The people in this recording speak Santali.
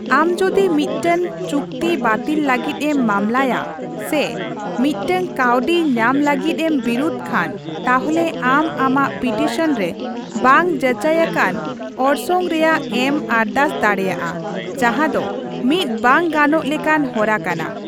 ᱟᱢ ᱡᱩᱫᱤ ᱢᱤᱫᱴᱟᱝ ᱪᱩᱠᱛᱤ ᱵᱟᱹᱛᱤᱞ ᱞᱟᱹᱜᱤᱫ ᱮᱢ ᱢᱟᱢᱞᱟᱭᱟ ᱥᱮ ᱢᱤᱫᱴᱟᱝ ᱠᱟᱹᱣᱰᱤ ᱧᱟᱢ ᱞᱟᱹᱜᱤᱫ ᱮᱢ ᱵᱤᱨᱩᱫᱷ ᱠᱷᱟᱱ, ᱛᱟᱦᱚᱞᱮ ᱟᱢ ᱟᱢᱟᱜ ᱯᱤᱴᱤᱥᱚᱱ ᱨᱮ ᱵᱟᱝ ᱡᱟᱪᱟᱭ ᱟᱠᱟᱱ ᱚᱨᱥᱚᱝ ᱨᱮᱭᱟᱜᱼᱮᱢ ᱟᱨᱫᱟᱥ ᱫᱟᱲᱮᱭᱟᱜᱼᱟ, ᱡᱟᱸᱦᱟ ᱫᱚ ᱢᱤᱫ ᱵᱟᱝ ᱜᱟᱱᱚᱜ ᱞᱮᱠᱟᱱ ᱦᱚᱨᱟ ᱠᱟᱱᱟ ᱾